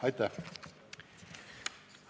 Aitäh!